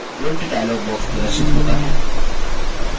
print dialog box प्रदर्शित होता है